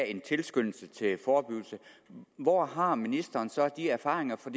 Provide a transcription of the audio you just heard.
en tilskyndelse til forebyggelse hvor har ministeren så de erfaringer fra